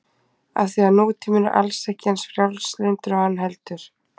Af því að nútíminn er alls ekki eins frjálslyndur og hann heldur.